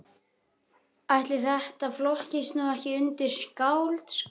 Ætli þetta flokkist nú ekki undir skáldskap.